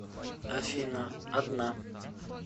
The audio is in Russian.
афина одна